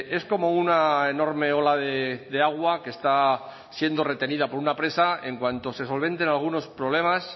es como una enorme ola de agua que está siendo retenida por una presa en cuanto se solventen algunos problemas